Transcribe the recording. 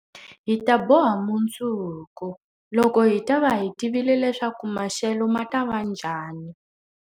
Hi ta boha mundzuku, loko hi ta va hi tivile leswaku maxelo ma ta va njhani.